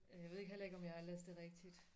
Jeg ved ikke heller ikke om jeg har læst det rigtigt